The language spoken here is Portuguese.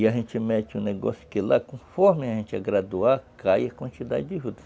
E a gente mete um negócio que lá, conforme a gente é graduar, cai a quantidade de juta.